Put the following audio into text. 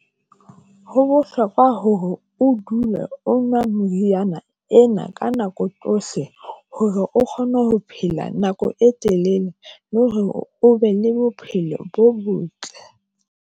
Ho bohlokwa hore o dule o nwa moriana ena ka nako tsohle, hore o kgone ho phela nako e telele, le hore o be le bophelo bo botle.